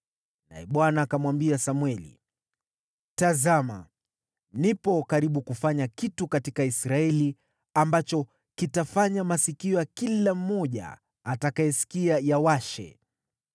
Naye Bwana akamwambia Samweli: “Tazama, nipo karibu kufanya kitu katika Israeli ambacho kitafanya masikio ya kila mmoja atakayesikia yawashe.